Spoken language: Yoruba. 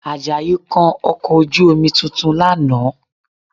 Àjàyí kan ọkọ̀ ojú-omi tuntun lánàá